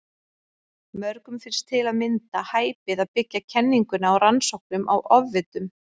Mörgum finnst til að mynda hæpið að byggja kenninguna á rannsóknum á ofvitum.